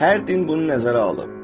Hər din bunu nəzərə alıb.